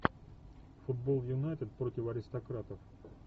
футбол юнайтед против аристократов